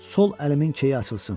Sol əlimin keyi açılsın.